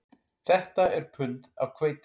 Þetta er pund af hveiti